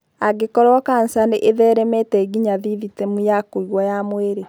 Angĩkorũo kanca nĩ ĩtheremete nginya thithitemu ya kũigua ya mwĩrĩ.